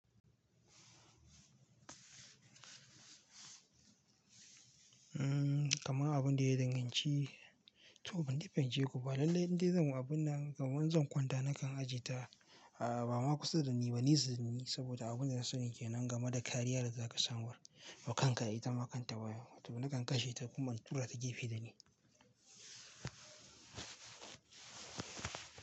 Mm, kaman abunda ya danganci, to bandai fahimceku ba lallai indai zan yi abun nan, kaman in zan kwanta nakan ajiye ta, a ba ma kusa da ni ba, nesa dani saboda abin da na sani ke nan game da kariyar da za ka samu. Da kanta ita makanta wayan, to nakan kashe ta kuma in tura ta gefe da ni.